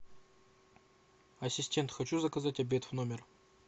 ассистент хочу заказать обед в номер